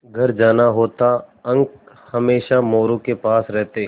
घर जाना होता अंक हमेशा मोरू के पास रहते